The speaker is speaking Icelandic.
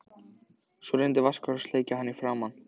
Svo reynir Vaskur að sleikja hann í framan.